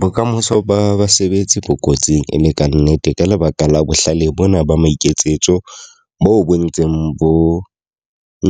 Bokamoso ba basebetsi bo kotsing e le ka nnete. Ka lebaka la bohlale bona ba maiketsetso bo bo ntseng bo